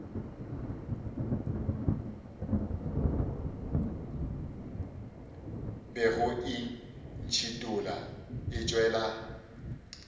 bego e ntšhithola e tšwela